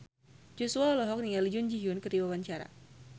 Joshua olohok ningali Jun Ji Hyun keur diwawancara